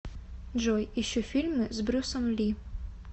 джой ищу фильмы с брюсом ли